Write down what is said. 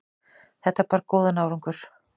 Þetta bar góðan árangur.